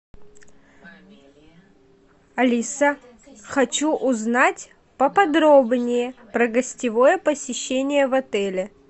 алиса хочу узнать поподробнее про гостевое посещение в отеле